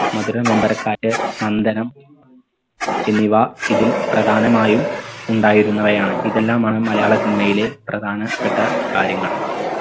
മഥുര നൊമ്പരക്കാറ്റ് നന്ദനം എന്നിവ ഇതിൽ പ്രധാനമായും ഉണ്ടായിരുന്നവയാണ്. ഇതെല്ലാമാണ് മലയാള cinema യിലെ പ്രധാനപ്പെട്ട കാര്യങ്ങൾ